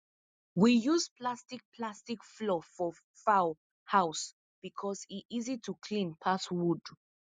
we use plastic plastic floor for fowl house because e easy to clean pass wood